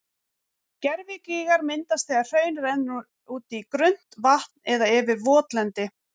Gervigígar myndast þegar hraun rennur út í grunnt vatn eða yfir votlendi.